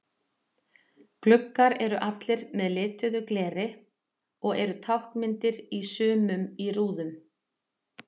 Gluggar eru allir með lituðu gleri og eru táknmyndir í sumum í rúðum.